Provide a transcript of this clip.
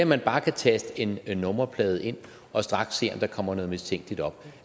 man bare kan taste en nummerplade ind og straks se om der kommer noget mistænkeligt op